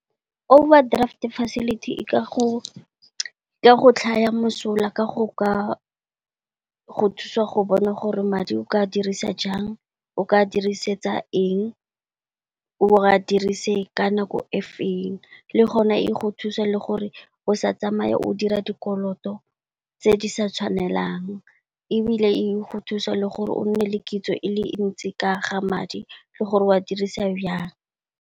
Overdraft facility e ka go tlhaya mosola ka go ka go thusa go bona gore madi o ka dirisa jang, o ka dirisetsa eng, o a dirise ka nako e feng, le gona e go thusa le gore o sa tsamaya o dira dikoloto tse di sa tshwanelang. E bile e go thusa le gore o nne le kitso e le ntsi ka ga madi le gore o a dirise byang.